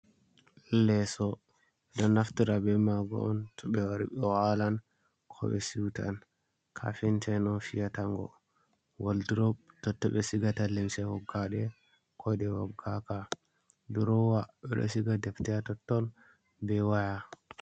Leso don naftara be mago on to be wari bohalan ko be siutan kafin ta on fiyatango waldrop totto be sigata lemse hoggade kode wabgaka durowa be resiga deftea totton ɓe waya.